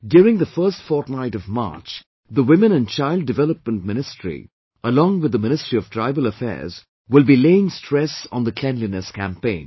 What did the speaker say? During the first fortnight of March, Women and Child Development Ministry along with the Ministry of Tribal Affairs will be laying stress on the Cleanliness Campaign